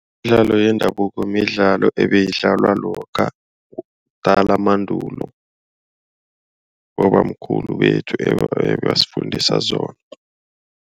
Imidlalo yendabuko midlalo ebeyidlalwa lokha kudala mandulo. Bobamkhulu bethu ebebasifundisa zona.